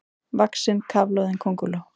vaxin kafloðin könguló.